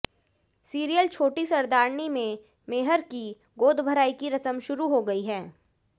serial Choti Sardarni में मेहर की गोदभराई की रस्म शुरू हो गई है